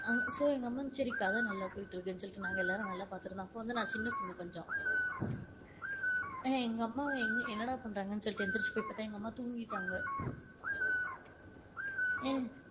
ஆஹ் So எங்க அம்மா சரி கத நல்லா போயிட்டு இருக்குனு சொல்லிட்டு நாங்க எல்லாம் நல்லா பாத்துட்டு இருந்தோம், அப்ப வந்து நான் சின்ன பொன்னு கொஞ்சம் ஏய் எங்க அம்மா வந்துட்டு என்னடா பன்றாங்கன்னு வந்து எழுந்துருச்சு போய் பாத்தா எங்க அம்மா வந்து தூங்கிட்டாங்க ஏய்